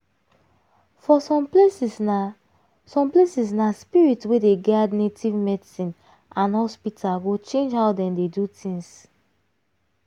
for some places na some places na spirit way dey guide native medicine and hospital go change how dem dey do things.